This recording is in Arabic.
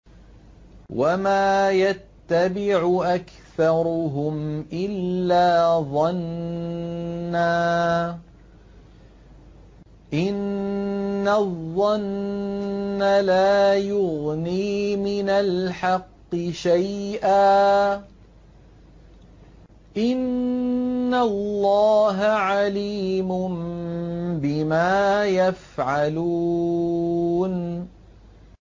وَمَا يَتَّبِعُ أَكْثَرُهُمْ إِلَّا ظَنًّا ۚ إِنَّ الظَّنَّ لَا يُغْنِي مِنَ الْحَقِّ شَيْئًا ۚ إِنَّ اللَّهَ عَلِيمٌ بِمَا يَفْعَلُونَ